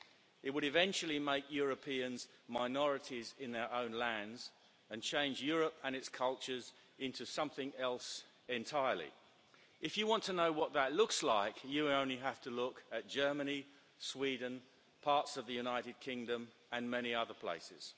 It would eventually make Europeans minorities in their own lands and change Europe and its cultures into something else entirely. If you want to know what that looks like, you only have to look at Germany, Sweden, parts of the United Kingdom and many other